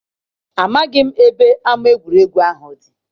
Amaghị m ebe ama egwuregwu ahụ dị.